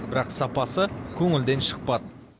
бірақ сапасы көңілден шықпады